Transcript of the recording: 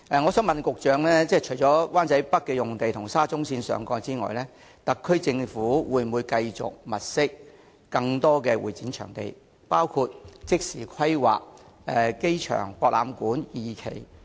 我想問局長，除了灣仔北的用地及沙中線上蓋之外，特區政府會否繼續物色更多用地以增加會展場地的供應，包括即時規劃亞博館第二期？